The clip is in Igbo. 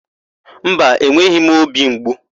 Mba, enweghị m óbì mgbu.